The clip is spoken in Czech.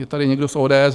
Je tady někdo z ODS?